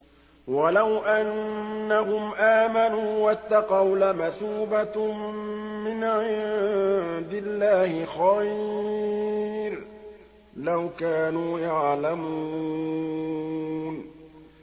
وَلَوْ أَنَّهُمْ آمَنُوا وَاتَّقَوْا لَمَثُوبَةٌ مِّنْ عِندِ اللَّهِ خَيْرٌ ۖ لَّوْ كَانُوا يَعْلَمُونَ